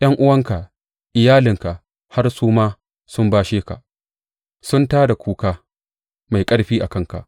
’Yan’uwanka, iyalinka har su ma sun bashe ka; sun tā da kuka mai ƙarfi a kanka.